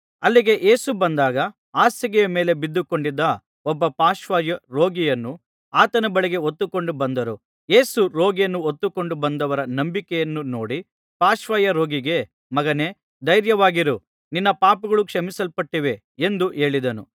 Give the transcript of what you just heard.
ಅಲ್ಲಿಗೆ ಯೇಸು ಬಂದಾಗ ಹಾಸಿಗೆಯ ಮೇಲೆ ಬಿದ್ದುಕೊಂಡಿದ್ದ ಒಬ್ಬ ಪಾರ್ಶ್ವವಾಯು ರೋಗಿಯನ್ನು ಆತನ ಬಳಿಗೆ ಹೊತ್ತುಕೊಂಡು ಬಂದರು ಯೇಸು ರೋಗಿಯನ್ನು ಹೊತ್ತುಕೊಂಡು ಬಂದವರ ನಂಬಿಕೆಯನ್ನು ನೋಡಿ ಪಾರ್ಶ್ವವಾಯು ರೋಗಿಗೆ ಮಗನೇ ಧೈರ್ಯವಾಗಿರು ನಿನ್ನ ಪಾಪಗಳು ಕ್ಷಮಿಸಲ್ಪಟ್ಟಿವೆ ಎಂದು ಹೇಳಿದನು